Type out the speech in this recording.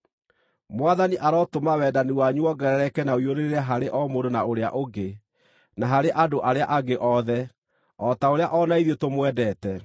Mwathani arotũma wendani wanyu wongerereke na ũiyũrĩrĩre harĩ o mũndũ na ũrĩa ũngĩ, na harĩ andũ arĩa angĩ othe, o ta ũrĩa o na ithuĩ tũmwendete.